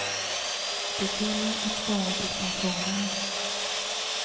Det gäller att spara till pensionen.